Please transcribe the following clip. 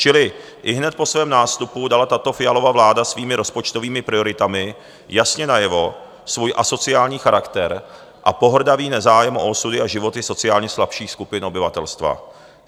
Čili ihned po svém nástupu dala tato Fialova vláda svými rozpočtovými prioritami jasně najevo svůj asociální charakter a pohrdavý nezájem o osudy a životy sociálně slabších skupin obyvatelstva.